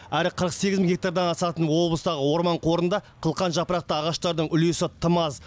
әрі қырық сегіз мың гектардан асатын облыстағы орман қорында қылқан жапырақты ағаштардың үлесі тым аз